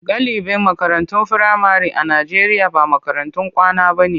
Galibin makarantun firamare a Najeriya ba makarantun kwana bane.